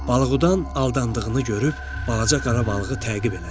Balıqdan aldandığını görüb balaca qara balığı təqib elədi.